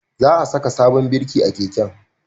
Za a saka sabon birki a keken